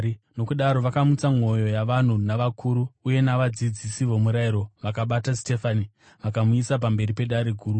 Nokudaro vakamutsa mwoyo yavanhu navakuru uye navadzidzisi vomurayiro. Vakabata Sitefani vakamuuyisa pamberi peDare Guru.